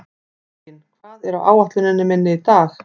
Reginn, hvað er á áætluninni minni í dag?